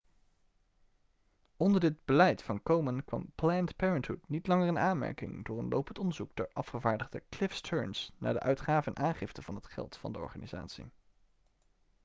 onder dit beleid van komen kwam planned parenthood niet langer in aanmerking door een lopend onderzoek door afgevaardigde cliff stearns naar de uitgave en aangifte van het geld van de organisatie